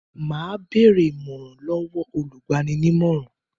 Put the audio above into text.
Mà á bèrè ìmọ̀ràn lọ́wọ́ olùgbaninímọ̀ràn.